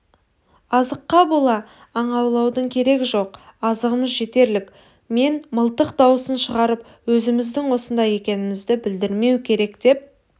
азыққа бола аң аулаудың керегі жоқ азығымыз жетерлік мен мылтық даусын шығарып өзіміздің осында екенімізді білдірмеу керек деп